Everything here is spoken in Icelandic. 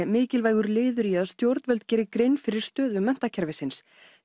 mikilvægur liður í að stjórnvöld geri grein fyrir stöðu menntakerfisins